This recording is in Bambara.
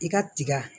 I ka tiga